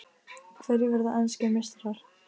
Hverjir verða enskir meistarar?